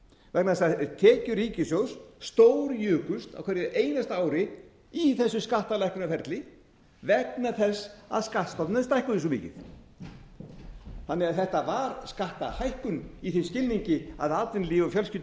vegna þess að tekjur ríkissjóðs stórjukust á hverju einasta ári í þessu skattalækkunarferli vegna þess að skattstofnarnir stækkuðu svo mikið þetta var því skattahækkun í þeim skilningi að atvinnulífið og